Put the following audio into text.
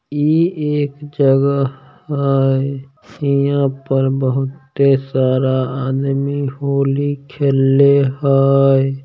ई एक जगह हय इहाँ पर बहुत ही सारा आदमी होली खेले हय।